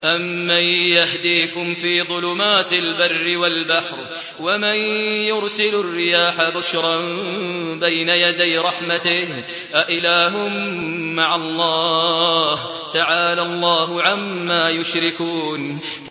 أَمَّن يَهْدِيكُمْ فِي ظُلُمَاتِ الْبَرِّ وَالْبَحْرِ وَمَن يُرْسِلُ الرِّيَاحَ بُشْرًا بَيْنَ يَدَيْ رَحْمَتِهِ ۗ أَإِلَٰهٌ مَّعَ اللَّهِ ۚ تَعَالَى اللَّهُ عَمَّا يُشْرِكُونَ